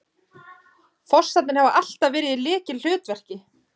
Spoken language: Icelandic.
Fossarnir hafa alltaf verið í lykilhlutverki